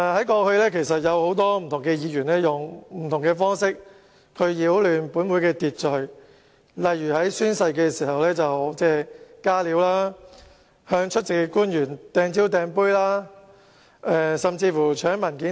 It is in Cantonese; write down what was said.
過去，很多議員用不同方式擾亂立法會的秩序，例如在宣誓時"加料"、向出席官員擲蕉、擲杯甚至搶文件等。